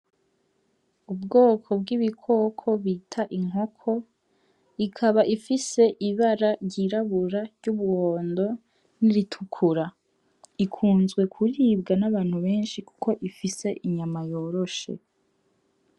Ubwoko bw'ibikoko bita inkoko, ikaba ifise ibara ryirabura, iry'umuhondo n'iritukura. Ikunzwe kuribwa n'abantu benshi kuko ifise inyama yoroshe.